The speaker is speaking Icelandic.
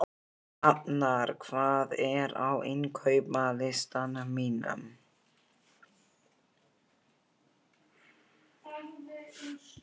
Hafnar, hvað er á innkaupalistanum mínum?